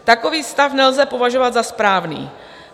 Takový stav nelze považovat za správný.